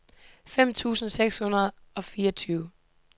fem tusind seks hundrede og fireogtyve